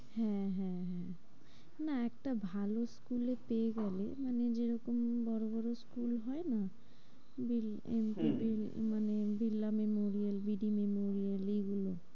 হ্যাঁ হ্যাঁ হ্যাঁ, না একটা ভালো school এ পেয়ে গেলে মানে যেরকম বড়ো বড়ো school হয় না? যেমন হম এম কে ভিল, মানে Birla memorial, B D memorial এইগুলো